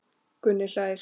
Gunni hlær.